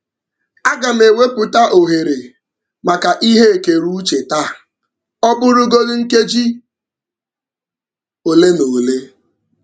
Aga m ewepụta ohere maka ihe ekereuche taa, ọ bụrụgodu nkeji ole na ole.